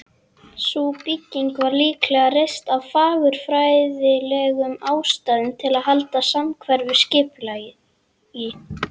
Sú bygging var líklega reist af fagurfræðilegum ástæðum, til að halda samhverfu skipulagi.